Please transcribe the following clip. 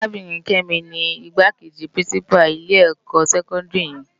Arábirin Kemi ni Igbákéji pirinsipá ilè èkò sèkòndiri yèn